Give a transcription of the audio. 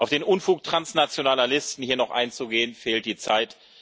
Um auf den Unfug transnationaler Listen hier noch einzugehen, fehlt die Zeit.